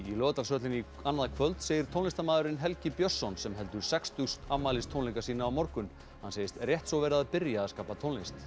í Laugardalshöllinni annað kvöld segir tónlistarmaðurinn Helgi Björnsson sem heldur sextugs afmælistónleika sína á morgun hann segist rétt svo vera að byrja að skapa tónlist